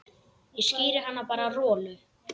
Ég skíri hann bara Rolu.